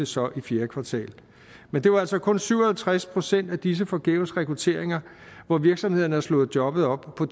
så i fjerde kvartal men det var altså kun i syv og halvtreds procent af disse forgæves rekrutteringer at virksomhederne havde slået jobbet op på